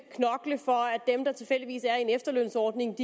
dem der tilfældigvis er i en efterlønsordning